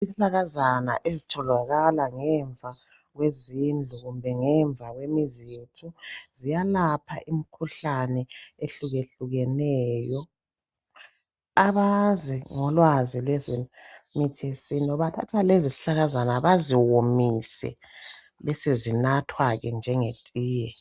Isihlahlakazana ezitholakala ngemva kwezindlu kumbe ngemva kwemizi yethu ziyalapha imikhuhlane ehlukeneyo abazi ngolwazi lwemithi yesintu bathatha lezo zihlahlakazana baziwomise banathe njengetiye